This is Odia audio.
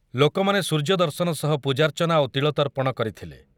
ଲୋକମାନେ ସୂର୍ଯ୍ୟ ଦର୍ଶନ ସହ ପୂଜାର୍ଚ୍ଚନା ଓ ତିଳତର୍ପଣ କରିଥିଲେ ।